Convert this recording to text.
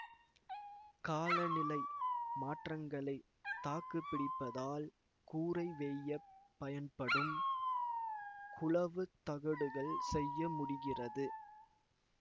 காலநிலை மாற்றங்களை தாக்கு பிடிப்பதால் கூரை வேயப் பயன்படும் குழவுத் தகடுகள் செய்ய முடிகிறது